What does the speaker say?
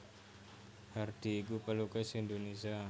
Hardi iku pelukis Indonesia